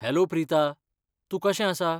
Hello Preeta, तूं कशें आसा?